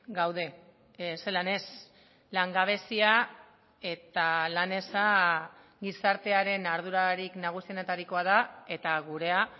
gaude zelan ez langabezia eta lan eza gizartearen ardurarik nagusienetarikoa da eta gurea